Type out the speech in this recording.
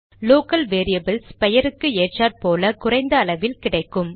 local variables பெயருக்கு ஏற்றாற்போல் குறைந்த அளவில் கிடைக்கும்